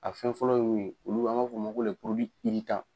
A fɛn fɔlɔ ye mun ye, olu an b'a f'ɔ ma ko